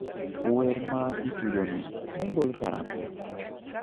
Wer maitugoni nogol karang'o